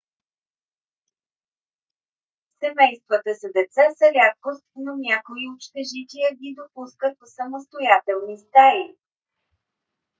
семействата с деца са рядкост но някои общежития ги допускат в самостоятелни стаи